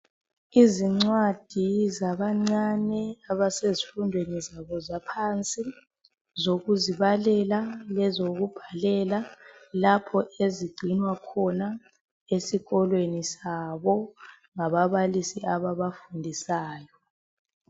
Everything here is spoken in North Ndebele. Izincwadi zabancane abasezifundweni zabo zaphansi zokuzibalela lezokubhalela lapho ezigcinwa khona esikolweni sabo ngababalisi ababafundisayo.